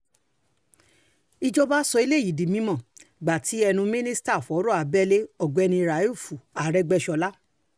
ìjọba sọ eléyìí di mímọ́ gbà tí ẹnu mínísítà fọ̀rọ̀ abẹ́lé ọ̀gbẹ́ni rauf àrègbèsọ̀la